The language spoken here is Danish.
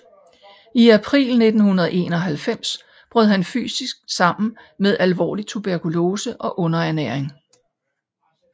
I april 1951 brød han fysisk sammen med alvorlig tuberkulose og underernæring